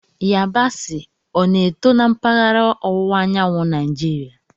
Yabasị, o na-eto na mpaghara ọwụwa anyanwụ Naijiria?